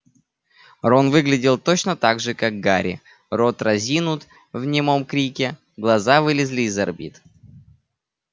рон выглядел точно так же как гарри рот разинут в немом крике глаза вылезли из орбит